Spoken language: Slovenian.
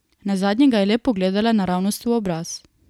Nazadnje ga je le pogledala naravnost v obraz.